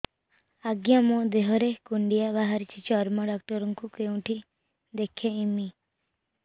ଆଜ୍ଞା ମୋ ଦେହ ରେ କୁଣ୍ଡିଆ ବାହାରିଛି ଚର୍ମ ଡାକ୍ତର ଙ୍କୁ କେଉଁଠି ଦେଖେଇମି